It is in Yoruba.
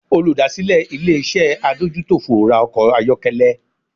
Olùdásílẹ̀ ilé-iṣẹ́ adójútòfò ra ọkọ̀ ayọ́kẹ́lẹ́